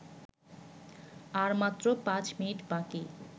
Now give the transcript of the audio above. আর মাত্র পাঁচ মিনিট বাকি